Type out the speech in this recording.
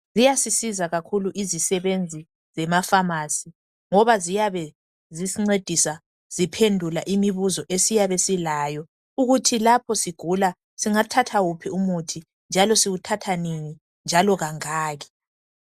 Ziyasisiza kakhulu izisebenzi zema"pharmacy" ngoba ziyabe zisincedisa ziphendula imibuzo esiyabe silayo ukuthi lapho sigula singathatha wuphi umuthi njalo siwuthatha nini njalo kangaki.